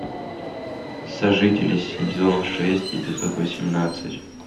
сожители сезон шесть эпизод восемнадцать